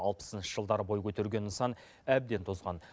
алпысыншы жылдары бой көтерген нысан әбден тозған